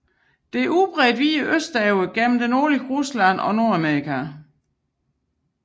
Den er udbredt videre østover gennem det nordlige Rusland og Nordamerika